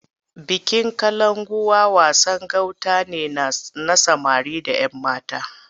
Bikin Kalankuwa wasan gauta ne na samari da ‘yammata.